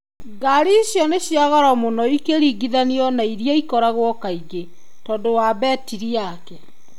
Ngari icio nĩ cia goro mũno ikĩringithanio na iria ikoragwo kaingĩ .Tondũ wa betiri yake.